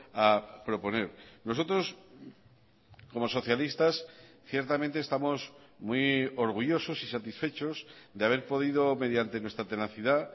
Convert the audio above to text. a proponer nosotros como socialistas ciertamente estamos muy orgullosos y satisfechos de haber podido mediante nuestra tenacidad